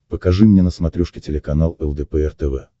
покажи мне на смотрешке телеканал лдпр тв